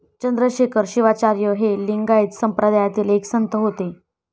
चंद्रशेखर शिवाचार्य हे लिंगायत संप्रदायातील एक संत होते.